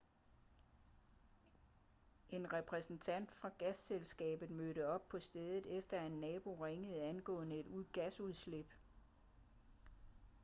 en repræsentant fra gasselskabet mødte op på stedet efter at en nabo ringede angående et gasudslip